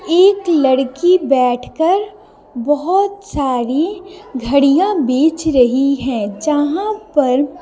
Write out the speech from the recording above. एक लड़की बैठकर बहुत सारी घड़ियां बेच रही है जहां पर--